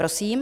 Prosím.